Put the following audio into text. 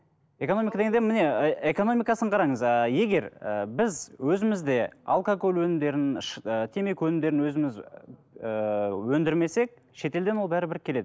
экономика дегенде міне экономикасын қараңыз ыыы егер ыыы біз өзімізде алкоголь өнімдерін темекі өнімдерін өзіміз ііі өндірмесек шетелден ол бәрібір келеді